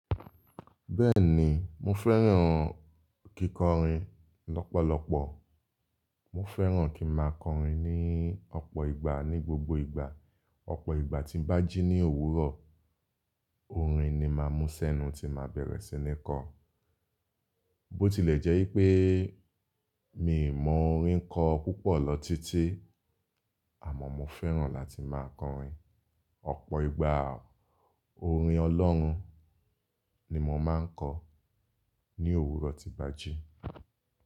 Bẹ́ẹ̀ni, mo fẹ́ràn kíkọrin lọ́pọ̀lọpọ̀. Mo fẹ́ràn kí n má a kọrin ní ọ̀pọ̀ ìgbà ní gbogbo ìgbà. Ọ̀pọ̀ ìgbà tí ń bá jí ní òwúrọ̀, orin ni màá mú sẹ́nu tí màá bẹ̀rẹ̀ sí ní kọ. Bó ti lè jẹ́ ipé mi ò mọ orin kọ púpọ̀ lọ títí, àmọ́ mo fẹ́ràn láti máa kọrin. Ọ̀pọ̀ ìgbà, orin Ọlọ́run ni mò máa ń kọ ní òwúrọ̀ tí bàjí.